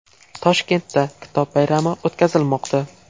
Toshkentda Kitob bayrami o‘tkazilmoqda .